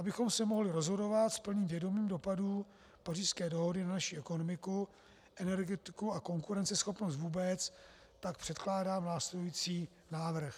Abychom se mohli rozhodovat s plným vědomím dopadů Pařížské dohody na naši ekonomiku, energetiku a konkurenceschopnost vůbec, tak předkládám následující návrh.